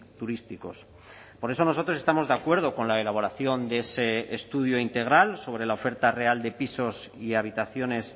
turísticos por eso nosotros estamos de acuerdo con la elaboración de ese estudio integral sobre la oferta real de pisos y habitaciones